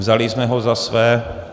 Vzali jsme ho za svůj.